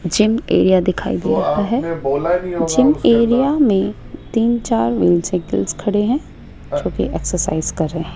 gym area दिखाई दे रहा है जिम एरिया मे तीन चार व्हील साईकल खड़े है जोकि एक्सरसाइज कर रहे --